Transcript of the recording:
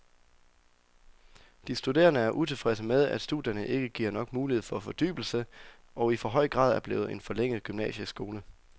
De studerende er utilfredse med, at studierne ikke giver nok mulighed for fordybelse og i for høj grad er blevet en forlænget gymnasieskole.